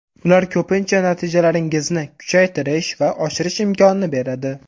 Ular ko‘pincha natijalaringizni kuchaytirish va oshirish imkonini beradi.